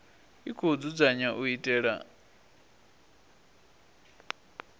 i khou dzudzanywa u itela